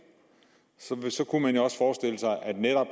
så kunne man jo også forestille sig at netop